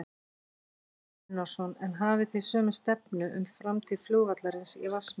Kristján Már Unnarsson: En hafið þið sömu stefnu um framtíð flugvallarins í Vatnsmýri?